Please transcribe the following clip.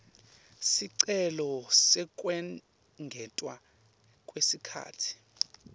sicelo sekwengetwa kwesikhatsi